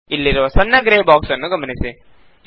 ಇಲ್ಲಿರುವ ಸಣ್ಣ grey box ನ್ನು ಗಮನಿಸಿ